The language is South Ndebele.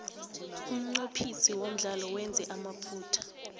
umnqophisi womdlalo wenze amaphutha